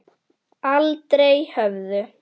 Aldrei höfðu